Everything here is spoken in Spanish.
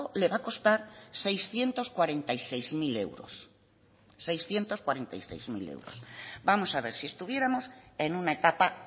le va a costar seiscientos cuarenta y seis mil euros vamos a ver si estuviéramos en una etapa